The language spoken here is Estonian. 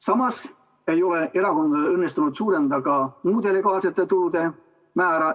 Samas ei ole erakondadel õnnestunud suurendada ka muude legaalsete tulude määra.